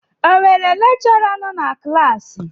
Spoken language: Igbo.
O nwere lekchọra nọ na klassi?